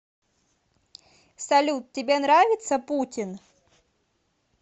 салют тебе нравится путин